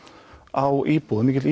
á íbúum mikill